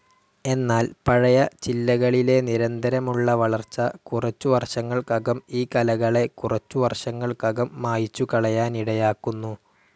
എന്നാൽ പഴയ ചില്ലകളിലെ നിരന്തരമുള്ള വളർച്ച കുറച്ചു വർഷങ്ങൾക്കകം ഈ കലകളെ കുറച്ചുവർഷങ്ങൾക്കകം മായ്ച്ചുകളയാനിടയാക്കുന്നു.